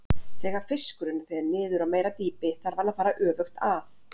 Þegar fiskurinn fer niður á meira dýpi þarf hann að fara öfugt að.